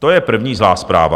To je první zlá zpráva.